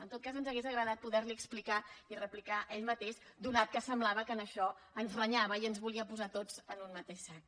en tot cas ens hauria agradat poder li explicar i replicar a ell mateix atès que semblava que en això ens renyava i ens volia posar a tots en un mateix sac